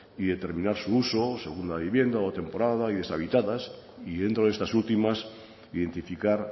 y determinar su uso según la vivienda o temporada y deshabitadas y dentro de estas últimas identificar